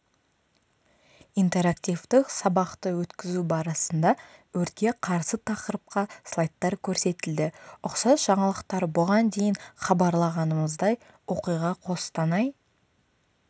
интерактивтік сабақты өткізу барысында өртке қарсы тақырыпқа слайдтар көрсетілді ұқсас жаңалықтар бұған дейін хабарлағанымыздай оқиға қостанай